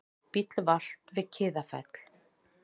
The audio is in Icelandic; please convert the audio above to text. Bíll valt við Kiðafell